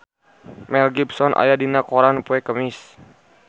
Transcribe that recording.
Mel Gibson aya dina koran poe Kemis